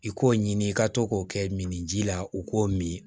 I k'o ɲini i ka to k'o kɛ min ji la u k'o min